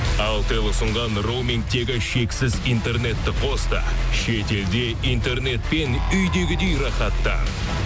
алтел ұсынған роумингтегі шексіз интернетті қос та шетелде интернетпен үйдегідей рахаттан